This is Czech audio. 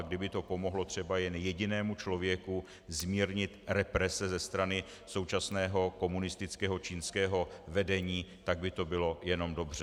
A kdyby to pomohlo třeba jen jedinému člověku zmírnit represe ze strany současného komunistického čínského vedení, tak by to bylo jenom dobře.